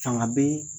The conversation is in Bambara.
Fanga bɛ